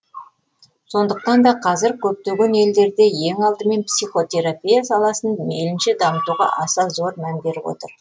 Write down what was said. сондықтан да қазір көптеген елдерде ең алдымен психотерапия саласын мейлінше дамытуға аса зор мән беріп отыр